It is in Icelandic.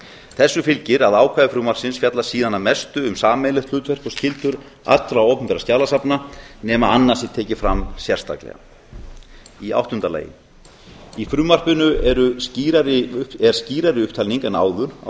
þessu fylgir að ákvæði frumvarpsins fjallar síðan að mestu um sameiginlegt hlutverk og skyldur allra opinberra skjalasafna nema annað sé tekið fram sérstaklega áttunda í frumvarpinu er skýrari upptalning en áður á